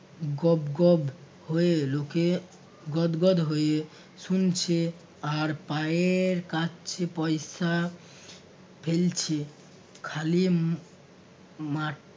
গবগব হয়ে লোকে গদগদ হয়ে শুনছে আর পায়ের কাছে পয়সা ফেলছে খালি ম~ মাঠ